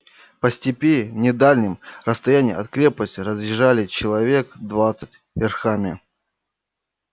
по степи не в дальнем расстоянии от крепости разъезжали человек двадцать верхами